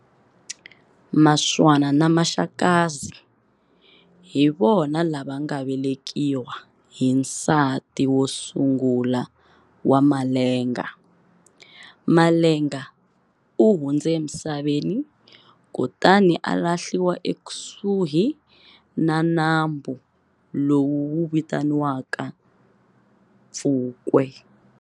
Muswana na Maxakazi hi vona lava nga velekiwa hi nsati wo sungula wa Malenga. Malenga u hundze emisaveni kutani a lahliwa ekusuhi na nambu lowu wu vitaniwaka Pfukwe.